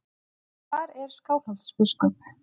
En hvar er Skálholtsbiskup?